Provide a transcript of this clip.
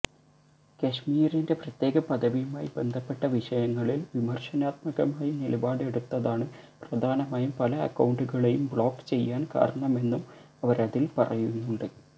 കശ്മീരിന്റെ പ്രത്യേക പദവിയുമായി ബന്ധപ്പെട്ട വിഷയങ്ങളില് വിമര്ശനാത്മകമായി നിലപാടെടുത്തതാണ് പ്രധാനമായും പല അക്കൌണ്ടുകളെയും ബ്ലോക്ക് ചെയ്യാന് കാരണമെന്നും അവരതില് പറയുന്നുണ്ട്